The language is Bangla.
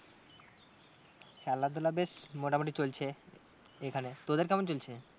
খেলাধুলা বেশ মোটামুটি চলছে। এখানে তোদের কেমন চলছে?